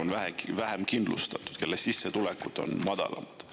on vähem kindlustatud, kelle sissetulekud on madalamad.